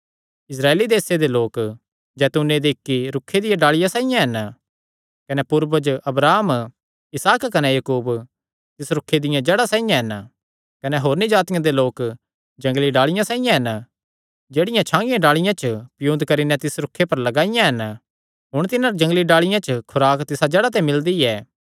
इस्राएल देसे दे लोक जैतूने दे इक्की रूखे दियां डाल़िआं साइआं हन कने पूर्वज अब्राहम इसहाक कने याकूब तिस रूखे दियां जड़ां साइआं हन कने होरनी जातिआं दे लोक जंगली डाल़िआं साइआं हन जेह्ड़ियां छागियां डाल़िआं च पियुन्द करी नैं तिस रूखे पर लगाईयां हन हुण तिन्हां जंगली डाल़िआं जो खुराक तिसा जड़ा ते मिलदी ऐ